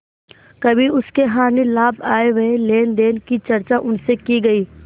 कभी उसके हानिलाभ आयव्यय लेनदेन की चर्चा उनसे की गयी